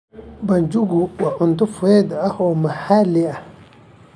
Banjuku waa cunto fudud oo maxalli ah.